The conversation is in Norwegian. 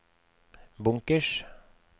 bunkers